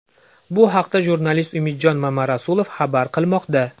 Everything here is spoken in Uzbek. Bu haqda jurnalist Umidjon Mamarasulov xabar qilmoqda.